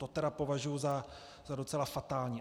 To tedy považuju za docela fatální.